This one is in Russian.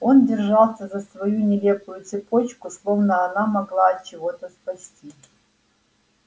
он держался за свою нелепую цепочку словно она могла от чего-то спасти